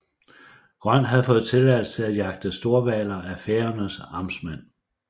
Grøn havde fået tilladelse til at jagte storhvaler af Færøernes amtmand